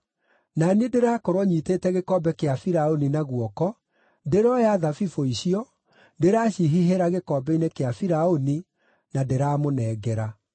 Na niĩ ndĩrakorwo nyiitĩte gĩkombe kĩa Firaũni na guoko, ndĩrooya thabibũ icio, ndĩraacihihĩra gĩkombe-inĩ kĩa Firaũni, na ndĩramũnengera.”